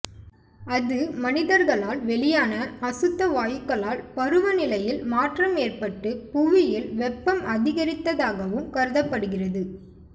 அது மனிதர்களால் வெளியான அசுத்த வாயுக்களால் பருவநிலையில் மாற்றம் ஏற்பட்டு புவியில் வெப்பம் அதிகரித்ததாகவும் கருதப்படுகிறது